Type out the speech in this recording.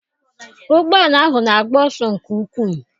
Ụgbọala ahụ na-agba ọsọ nke ukwu.